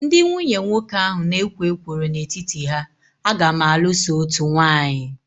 Ndị nwunye nwoke ahụ na ekwo ekworo n'etiti ha, a ga m alụ so otú nwanyi